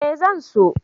Eh zan so.